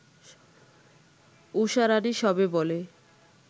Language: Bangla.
ঊষারাণী সবে বলে